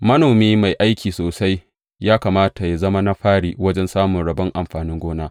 Manomi mai aiki sosai ya kamata yă zama na fari wajen samun rabon amfanin gona.